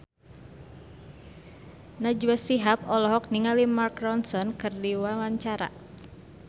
Najwa Shihab olohok ningali Mark Ronson keur diwawancara